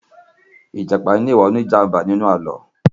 ijapa ní iwa òní jàmbá ní inú Àló̩